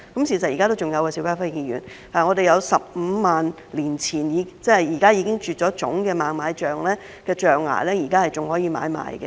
邵家輝議員，事實是現在仍然有15萬年前，即現在已經絕種的猛獁象象牙可供買賣。